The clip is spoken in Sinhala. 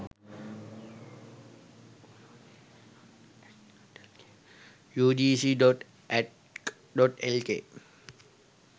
ugc.ac.lk